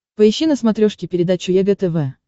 поищи на смотрешке передачу егэ тв